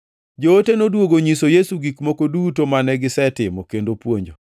Joote noduogo onyiso Yesu gik moko duto mane gisetimo kendo puonjo.